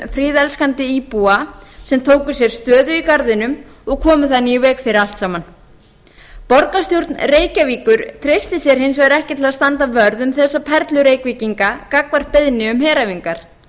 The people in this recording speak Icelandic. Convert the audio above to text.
friðelskandi íbúa sem tóku sér stöðu í garðinum og komu þannig í veg fyrir allt saman borgarstjórn reykjavíkur treysti sér hins vegar ekki til að standa vörð um þessa perlu reykvíkinga gagnvart beiðni um heræfingar